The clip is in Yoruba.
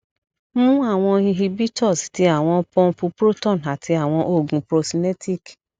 mu awọn cs] inhibitors ti awọn pumpu proton ati awọn oogun procinetic